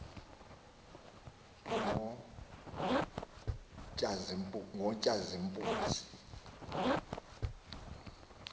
ngotshazimpunzi